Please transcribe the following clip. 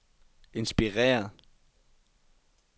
inspireret